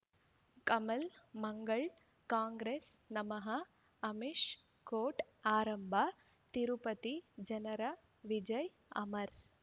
ಕಮಲ್ ಮಂಗಳ್ ಕಾಂಗ್ರೆಸ್ ನಮಃ ಅಮಿಷ್ ಕೋರ್ಟ್ ಆರಂಭ ತಿರುಪತಿ ಜನರ ವಿಜಯ್ ಅಮರ್